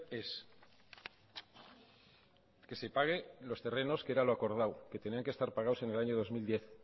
es que se pague los terrenos que era lo acordado que tenía que estar pagados en el año dos mil diez